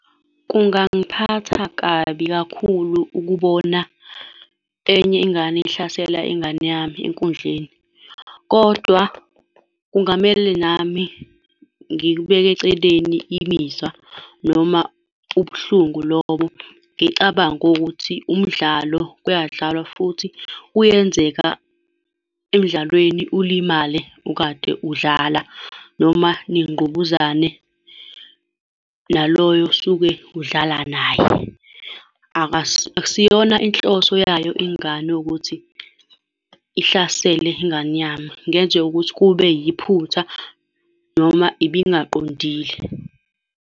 Kungangiphatha kabi kakhulu ukubona enye ingane ihlasela ingane yami enkundleni. Kodwa kungamele nami ngikubeke eceleni imizwa noma ubuhlungu lobo, ngicabange ukuthi umdlalo kuyadlalwa, futhi kuyenzeka emdlalweni ulimale ukade udlala, noma ningqubuzane naloyo osuke udlala naye. Akusiyona inhloso yayo ingane ukuthi ihlasele ingane yami. Kungenzeka ukuthi kube yiphutha noma ibingaqondile.